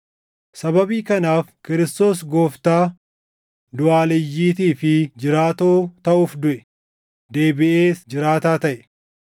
Sababii kanaaf Kiristoos Gooftaa duʼaaleyyiitii fi jiraatoo taʼuuf duʼe; deebiʼees jiraataa taʼe.